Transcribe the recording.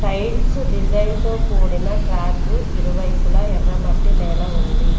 Tiles design తో కూడిన track ఇరువైపుల ఎర్ర మట్టి నేల ఉంది.